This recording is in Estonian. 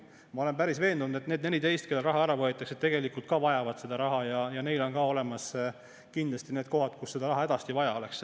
Ma olen päris veendunud, et need 14, kellelt raha ära võetakse, tegelikult ka vajavad seda raha ja neil on kindlasti olemas need kohad, kus seda raha hädasti vaja oleks.